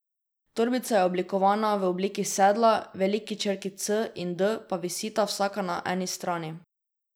Torbica je oblikovana v obliki sedla, veliki črki C in D pa visita vsaka na eni strani.